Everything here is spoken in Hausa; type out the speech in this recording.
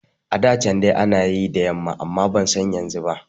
A da can dai ana yi ne da yamma amma ban san yanzu ba